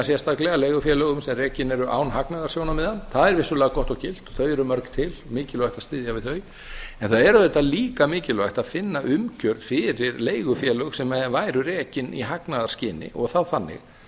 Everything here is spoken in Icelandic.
sérstaklega leigufélögum sem rekin eru án hagnaðarsjónarmiða það er vissulega gott og gilt og þau eru mörg til og mikilvægt að styðja við þau en það er auðvitað líka mikilvægt að finna umgjörð fyrir leigufélög sem væru rekin í hagnaðarskyni og þá þannig